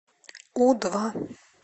у два